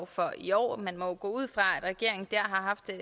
for i år man må jo gå ud fra at regeringen der har haft en